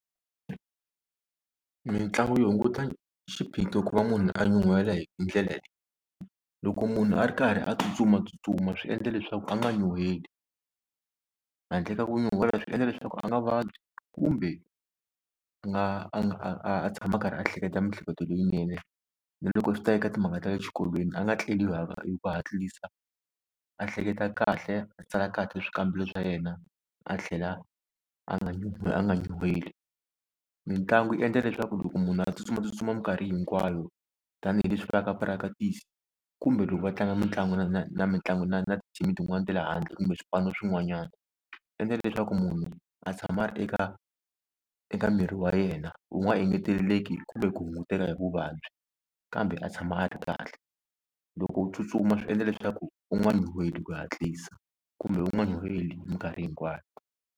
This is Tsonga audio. Mitlangu yo hunguta xiphiqo ku va munhu a nyuhela hi ndlela leyi loko munhu a ri karhi a tsutsumatsutsuma swi endla leswaku a nga nyuheli handle ka ku nyuhela swi endla leswaku a nga vabyi kumbe a nga a nga a tshama a karhi a hleketa miehleketo leyinene na loko swi ta eka timhaka ta le xikolweni a nga tleli hi ku hatlisa a hleketa kahle a tsala kahle swikambelo swa yena a tlhela a nga a nga nyuheli. Mitlangu yi endla leswaku loko munhu a tsutsumatsutsuma minkarhi hinkwayo tanihileswi vulaka practice kumbe loko va tlanga mitlangu na na na mitlangu na na tithimi tin'wani ta le handle kumbe swipano swin'wanyana swi endla leswaku munhu a tshama a ri eka eka miri wa yena wu nga engeteleleke kumbe ku hunguteka hi vuvabyi kambe a tshama a ri kahle loko u tsutsuma swi endla leswaku u nga nyuheli hi ku hatlisa kumbe u nga nyuheli minkarhi hinkwayo.